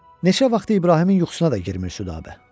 Neçə vaxtı İbrahimin yuxusuna da girmir Südabə.